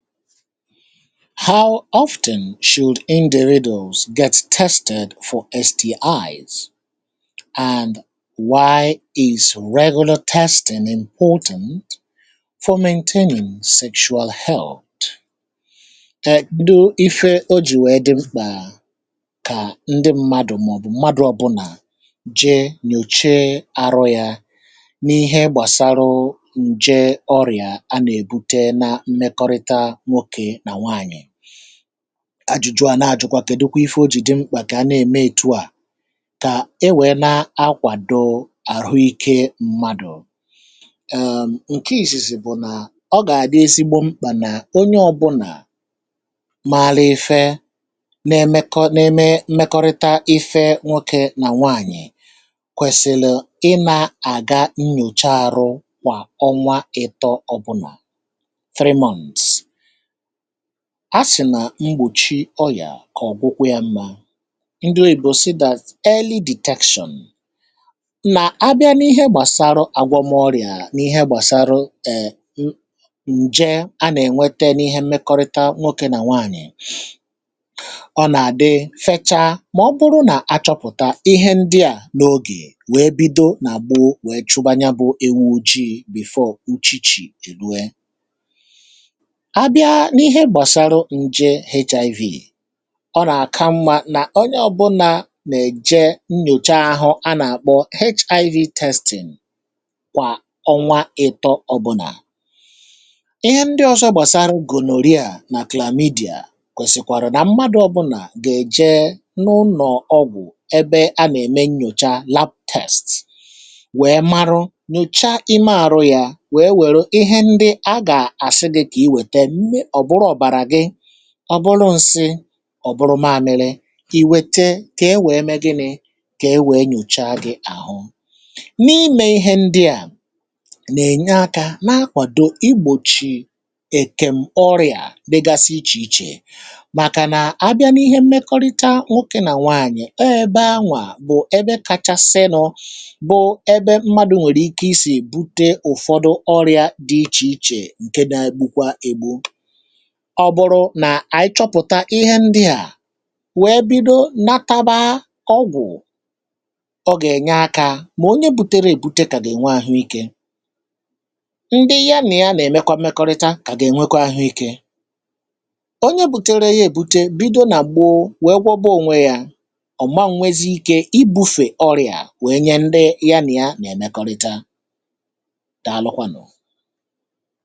ha ọfụtụ̀n shool ndị ridles gà ètị testatụ nsdi̇z um and why is regụnụ testatụ n’implotant fomentenyo sèchuo health ndị ife o ji wèe dị mkpà kà ndị mmadụ̀ màọbụ̀ mmadụ̀ ọbụna je nyòche arụ̇ yȧ n’ihe gbàsara ajụ̀jụ̀ à nà-ajụ̀kwa kèdekwa ife ojì di mkpà kà nà-ème ètu à kà e wèe na-akwàdo àrụike mmadụ̇ èèm ǹke ìsìsì bụ̀ nà ọ gà-àdị ezigbo mkpà nà onye ọ̇bụ̇nà malụ ife na-emekọna-eme mmekọrịta ife nwokė nà nwaànyị̀ kwèsìlì ị nȧ-àga nnyòcha àrụ kwà ọnwa ịtọ̇ ọbụnà a sì nà mgbòchi ọyà kà ọ̀kwụkwọ ya mmȧ um ndị oyì bụ̀ sità sị̀ eli deteksọn na abịa n’ihe gbàsaru àgwọmọrịà n’ihe gbàsaru èe ǹje anà-ènwete n’ihe mmekọrịta n’okė nà nwaànyị̀ ọ nà-àdị feta mà ọ bụrụ nà achọpụ̀ta ihe ndị à um n’ogè wèe bido nà gbuo wèe chụbanya bụ̇ ewu ojii̇ before uchichi èrue ihe ndị ọsọ gbàsaraa gà-èkpò ha nà-èkpò HIV test n’ọ̀bụnadị ihe ndị ọsọ gbàsaraa gònọrị a nà claymidi a kwèsìkwàrụ nà mmadụ ọbụnà gà-èje n’ụnọ̀ ọgwụ̀ ebe a nà-ème nnyòcha lab test ọ bụrụ ǹsị ọ̀ bụrụ maȧnị̇lị̇ i wete kà e nwèe mee gị nị̇ kà e nwèe nyòcha gị àhụ n’ime ihe ndịà nà-ènye akȧ na-akwàdò igbòchì èkem ọrịà bėgasi ichè ichè màkà nà abịa n’ihe mmekọrịta nwokė nà nwaànyị̀ ọ ọ̀ ebe anwà bụ̀ ebe kacha sinu̇bụ̀ ebe mmadụ̀ nwèrè ike isì bute ụ̀fọdụ ọrịȧ dị ichè ichè ǹke dị agbụkwa egbo ọ bụrụ nà ànyị chọpụ̀ta ihe ndị à wèe bido nataba ọgwụ̀ ọ gà-ènye akȧ mà onye bu̇tėrė èbute kà gà-ènwe àhụike ndị yȧ nà ya nà-èmekwa mmekọrịta kà gà-ènwekwa ahụike onye bu̇tėrė ihe èbute um bido nà gbuụ wèe gwọba ònwe yȧ ọ̀ ma m nwėzi ike ibu̇fè ọrị̀à wèe nye ndị ya nì ya nà-èmekọrịta daalụkwanụ̀.